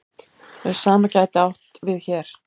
Og hið sama gæti átt við hér.